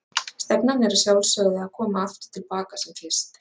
Stefnan er að sjálfsögðu að koma aftur til baka sem fyrst?